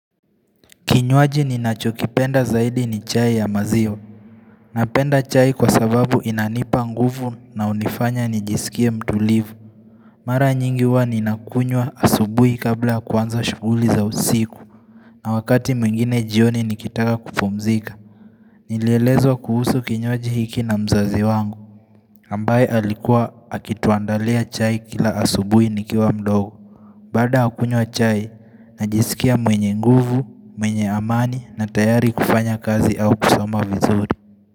Kinyuaji ni achokipenda zaidi ni chai ya maziwa Napenda chai kwa sababu inanipa nguvu na hunifanya nijisikia mtulivu Mara nyingiwa ni nakunywa asubuhi kabla kwanza shuguli za usiku na wakati mwingine jioni nikitaka kupumzika Nilielezwa kuhusu kinyuaji hiki na mzazi wangu ambaye alikuwa akituandalia chai kila asubui nikiwa mdogo Baada ya kuywa chai najisikia mwenye nguvu, mwenye amani na tayari kufanya kazi au kusoma vizuri.